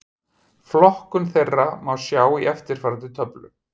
Flokkun þeirra má sjá í eftirfarandi töflu: